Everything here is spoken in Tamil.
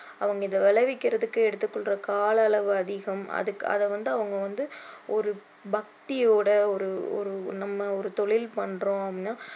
அவங்க இதை விளைவிக்குறதுக்கு எடுத்து கொள்ற கால அளவு அதிகம் அதுக்கு அதை வந்து அவங்க வந்து ஒரு பக்தியோட ஒரு நம்ம ஒரு தொழில் பண்ணுறோம்னு